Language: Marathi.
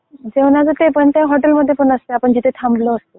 जेवणाचं ते हॉटेलमध्ये पण असते आपण जिथे थांबलो असतो तिकडे पण